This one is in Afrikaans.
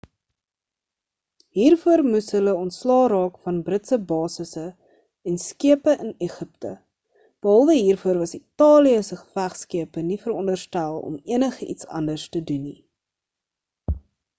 hiervoor moes hulle ontslae raak van britse basisse en skepe in egipte behalwe hiervoor was italië se gevegskepe nie veronderstel om enigiets anders te doen nie